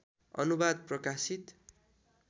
अनुवाद प्रकाशित